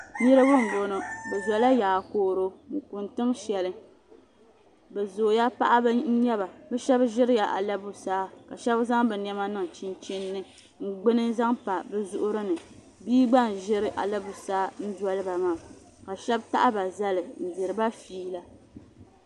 Niriba n bɔŋɔ bi zo la yaa koro n kuni tiŋ shɛli bi zooya paɣaba n nyɛba bi shɛba ziri la ala busaa ka shɛba zaŋ bi nɛma niŋ chinchini ni n gbuni n zaŋ pa bi zuɣu ri ni bia gba n ziri ala busaa n doli ba maa ka shɛba taɣi ba zali n diri ba feela.